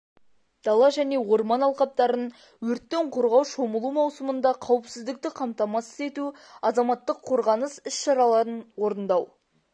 дала және орман алқаптарын өрттен қорғау шомылу маусымында қауіпсіздікті қамтамасыз ету азаматтық қорғаныс іс-шараларын орындау